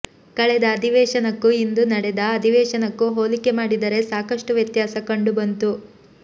ಕಳೆದ ಅಧಿವೇಶನಕ್ಕೂ ಇಂದು ನಡೆದ ಅಧಿವೇಶನಕ್ಕೂ ಹೋಲಿಕೆ ಮಾಡಿದರೆ ಸಾಕಷ್ಟು ವ್ಯತ್ಯಾಸ ಕಂಡು ಬಂತು